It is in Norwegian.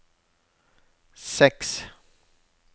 seks